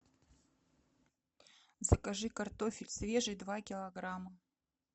закажи картофель свежий два килограмма